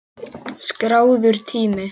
Skráður tími